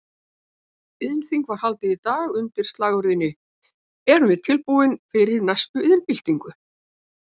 Iðnþing var haldið í dag undir slagorðinu Erum við tilbúin fyrir næstu iðnbyltingu?